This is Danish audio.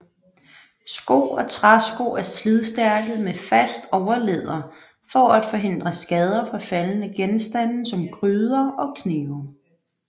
Sko og træsko er slidstærke med fast overlæder for at forhindre skader fra faldende genstande som gryder og knive